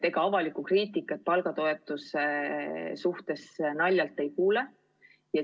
Ega avalikku kriitikat palgatoetuse kohta naljalt ei kuule.